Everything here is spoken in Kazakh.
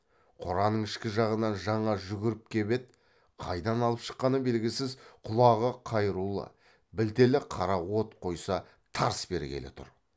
қораның ішкі жағынан жаңа жүгіріп кеп еді қайдан алып шыққаны белгісіз құлағы қайырулы білтелі қара от қойса тарс бергелі тұр